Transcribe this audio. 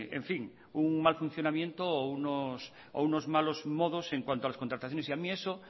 en fin un mal funcionamiento o unos malos modos en cuanto a las contrataciones a mí eso